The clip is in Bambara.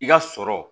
I ka sɔrɔ